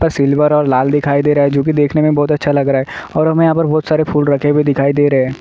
Silver और लाल दिखाई दे रहा है जो की देखने में बहुत अच्छा लग रहा है और हमें यहाँ बहुत सारे फूल रखे हुए दिखाई दे रहे हैं।